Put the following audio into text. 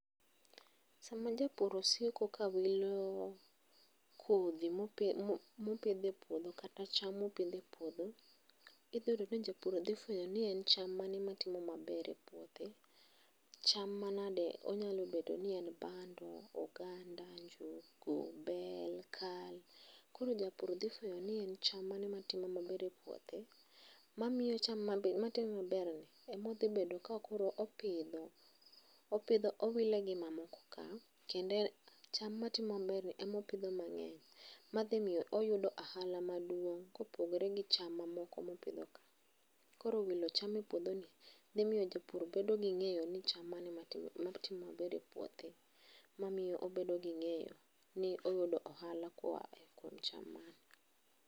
Sama japur osiko kawilo kodhi mopidho e puodho kata cham mopidho e puodho, idhi yudo ni japur dhi fwenyo ni en cham mane matimo maber e puothe, cham manade, onyalo bedo ni en bando, oganda, njugu bel ,kal koro japur dhi fwenyo ni en cham mane matimo maber e puothe mamiyo cham, matimo maberni emodhibedo ka koro opidho, opidho owile gi mamoko ka kendo en ,cham matimo maberni emopidhe mang'eny madhi miyo oyudo ahala maduong' kopogore gi cham mamoko mopidho ka. Koro wilo cham e puodhoni dhimiyo japur bedo gi ng'eyo ni cham mane matimo matimo maber e puothe mamiyo obedo gi ng'eyo ni oyudo ohala koa e kuom cham mane.